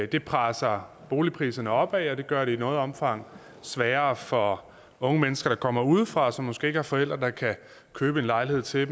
det presser boligpriserne opad og det gør det i noget omfang sværere for unge mennesker der kommer udefra og som måske ikke har forældre der kan købe en lejlighed til